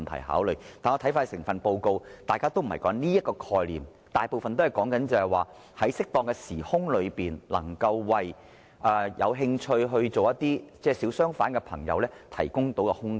但是，當看完整份報告後，大家都會知道當中並不是說這個概念，而是說在適當的時空內為有興趣成為小商販的朋友提供空間。